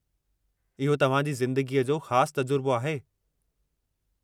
इहो तव्हां जी ज़िंदगीअ जो ख़ास तजुर्बो आहे।